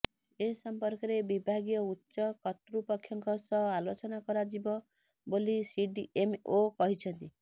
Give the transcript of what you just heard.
ଏସମ୍ପର୍କରେ ବିଭାଗୀୟ ଉଚ୍ଚ କର୍ତ୍ତୃପକ୍ଷଙ୍କ ସହ ଆଲୋଚନା କରାଯିବ ବୋଲି ସିଡିଏମ୍ଓ କହିଛନ୍ତି